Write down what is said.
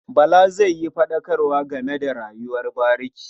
Bala zai yi faɗakarwa game da rayuwar bariki.